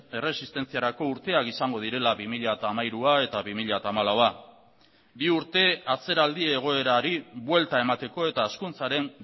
erresistentziarako urteak izango direla bi mila hamairua eta bi mila hamalaua bi urte atzeraldi egoerari buelta emateko eta hezkuntzaren